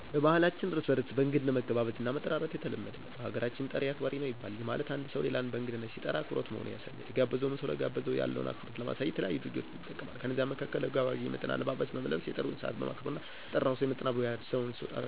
በባህላችን እርስ በርስ እንግድነት መገባበዝ እና መጠራራት የተለመደ ነው። በሀገራችን "ጠሪ አክባሪ ነው " ይባላል፤ ይህ ማለት አንድ ሠው ሌላን በእንግድነት ሲጠራ አክብሮት መሆኑን ያሳያል። የተጋበዘውም ሰው ለጋበዘው ሰው ያለውን አክብሮት ለማሳየት የተለያዩ ድርጊቶችን ይጠቀማል። ከነዛም መካከል ለጋባዡ የሚመጥን አለባበስን በመልበስ፣ የጥሪውን ሰዓት በማክበር እና ለጠራው ሰው ይመጥናል ብሎ ያሰበውን ስጦታ ይዞ በመሄድ አክብሮቱን ይገልፃል።